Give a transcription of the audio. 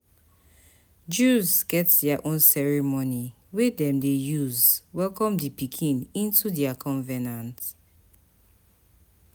Jews get their own ceremony wey dem de use welcome di pikin into their convenant